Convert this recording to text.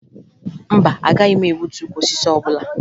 Mba, agaghị m egbutu ukwu osisi ọbụla